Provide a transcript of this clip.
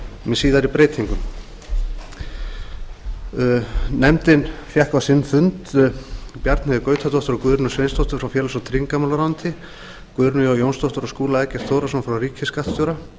með síðari breytingum nefndin hefur fjallað um málið og fengið á sinn fund bjarnheiði gautadóttur og guðrúnu sveinsdóttur frá félags og tryggingamálaráðuneyti guðrúnu j jónsdóttur og skúla eggert þórðarson frá ríkisskattstjóra